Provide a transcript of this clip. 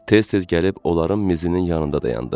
Tez-tez gəlib onların mizinin yanında dayandı.